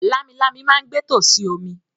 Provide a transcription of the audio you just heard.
“Lámilámi” ma ń gbé tòsí omi.